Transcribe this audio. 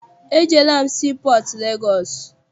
Ejeela m sii pọọtụ Legọọsị.